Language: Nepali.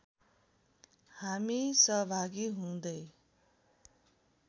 हामी सहभागी हुँदै